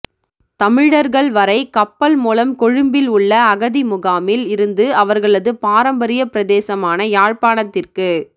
தமிழர்கள்வரை கப்பல் மூலம் கொழும்பில் உள்ள அகதி முகாமில் இருந்து அவர்களது பாரம்பரிய பிரதேசமான யாழ்ப்பாணத்திற்கு